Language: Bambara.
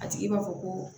A tigi b'a fɔ ko